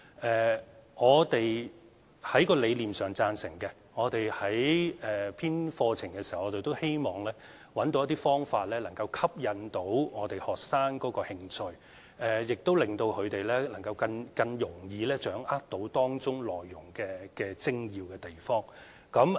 在理念上，當局是贊成的，我們編製課程的時候都希望找到一些方法，能夠吸引學生的興趣，亦令到他們更容易掌握當中內容的精要之處。